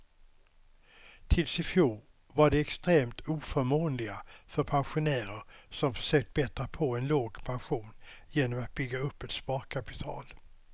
Tills i fjol var de extremt oförmånliga för pensionärer som försökt bättra på en låg pension genom att bygga upp ett sparkapital.